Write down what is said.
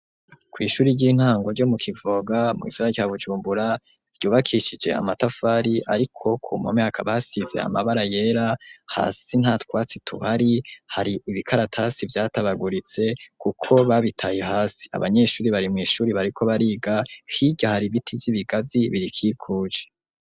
Kw'ishuri ry'intango ryo mu Kivoga, mu gisagara ca Bujumbura, ryubakishije amatafari, ariko ku mu mpome hakaba hasize amabara yera, hasi nta twatsi duhari, hari ibikaratasi vyatabaguritse, kuko babitaye hasi, abanyeshuri bari mw'ishuri bariko bariga, hirya hari ibiti vy'ibigazi birikikuje.